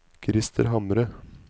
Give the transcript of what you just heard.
Krister Hamre